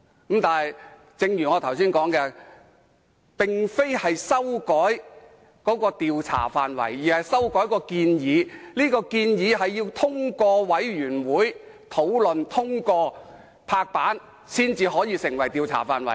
但是，正如我剛才所說，這並非修改調查範圍，而是修改調查範圍的建議，這項建議須經專責委員會討論和通過，才能成為調查範圍。